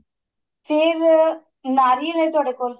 ਫੇਰ ਨਾਰੀਅਲ ਏ ਤੁਹਾਡੇ ਕੋਲ